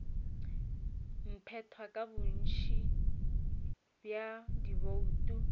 phethwa ka bontši bja dibouto